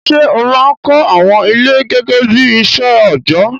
Ṣé ó máa ń kọ́ àwọn ilé gẹ́gẹ́ bí iṣẹ́ òjọ́?